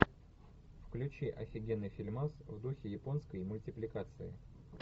включи офигенный фильмас в духе японской мультипликации